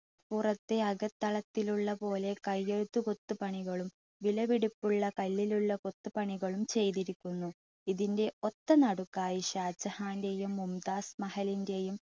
പുറത്തെ അകത്തളത്തിലുള്ള പോലെ കയ്യെഴുത്തു കൊത്തു പണികളും വിലപിടിപ്പുള്ള കല്ലിലുള്ള കൊത്തുപണികളും ചെയ്തിരിക്കുന്നു. ഇതിൻ്റെ ഒത്ത നടുക്കായി ഷാജഹാൻ്റെയും മുംതാസ് മഹലിൻ്റെയും